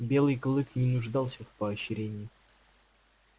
белый клык не нуждался в поощрении